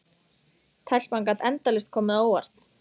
Telpan gat endalaust komið á óvart.